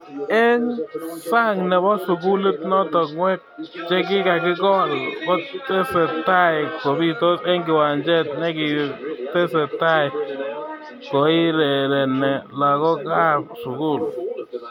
Eng sang nepo sugulit noto ngwek chikikakegol kotesetai kobitos eng kiwanjet nikitesetai koirerene lagok ab sugul.